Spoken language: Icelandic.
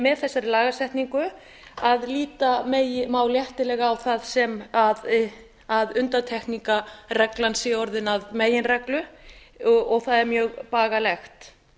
með þessari lagasetningu að líta má léttilega á það sem undantekningarreglan sé orðin að meginreglu og það er mjög bagalegt